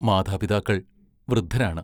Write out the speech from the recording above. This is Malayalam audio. മാതാപിതാക്കൾ വൃദ്ധരാണ്.